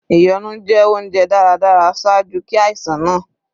Ìyọnu jẹ ounjẹ daradara ṣaaju ki aisan naa